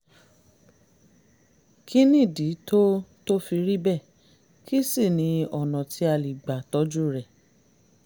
kí nìdí tó tó fi rí bẹ́ẹ̀ kí sì ni ọ̀nà tí a lè gbà tọ́jú rẹ̀?